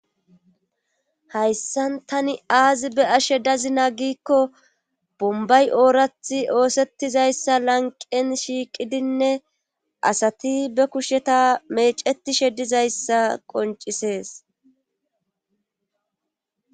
Hayssan tani aazi be ashe dazina giikko bombay oorathi oosettizayssa lanqen shiiqidinne asati be kusheta mecetishe dizayssa qoncisees,